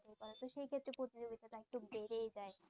একটু বেড়েই যায়